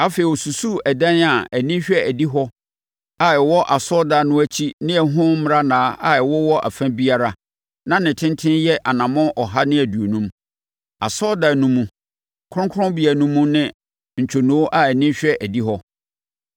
Afei ɔsusuu ɛdan a ani hwɛ adihɔ a ɛwɔ asɔredan no akyi ne ɛho mmarannaa a ɛwowɔ ɛfa biara; na ne tentene yɛ anammɔn ɔha ne aduonum. Asɔredan no mu, kronkronbea no mu ne ntwonoo a ani hwɛ adihɔ,